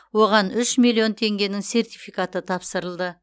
оған үш миллион теңгенің сертификаты тапсырылды